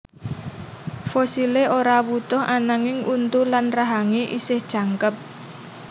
Fosilé ora wutuh ananging untu lan rahangé esih jangkep